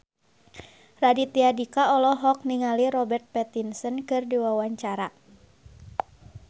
Raditya Dika olohok ningali Robert Pattinson keur diwawancara